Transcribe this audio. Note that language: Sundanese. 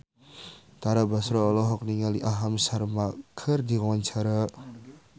Tara Basro olohok ningali Aham Sharma keur diwawancara